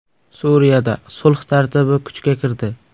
Suriyada sulh tartibi kuchga kirdi.